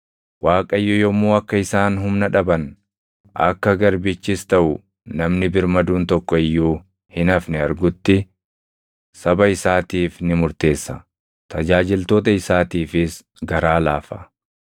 Waaqayyo yommuu akka isaan humna dhaban, akka garbichis taʼu namni birmaduun tokko iyyuu hin hafne argutti, saba isaatiif ni murteessa; tajaajiltoota isaatiifis garaa laafa.